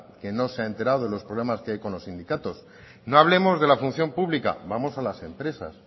que no se ha enterado de los problemas que hay con los sindicatos no hablemos de la función pública vamos a las empresas